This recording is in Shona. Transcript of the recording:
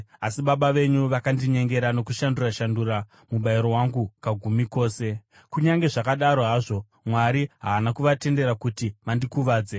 asi baba venyu vakandinyengera nokushandura-shandura mubayiro wangu kagumi kose. Kunyange zvakadaro hazvo, Mwari haana kuvatendera kuti vandikuvadze.